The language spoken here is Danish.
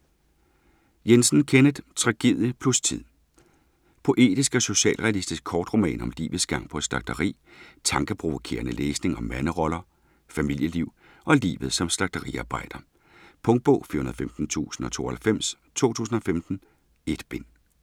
Jensen, Kenneth: Tragedie plus tid Poetisk og socialrealistisk kortroman om livets gang på et slagteri. Tankeprovokerende læsning om manderoller, familieliv og livet som slagteriarbejder. Punktbog 415092 2015. 1 bind.